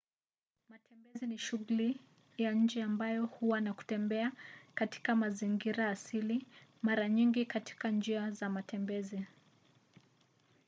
matembezi ni shughuli ya nje ambayo huwa na kutembea katika mazingira asili mara nyingi katika njia za matembezi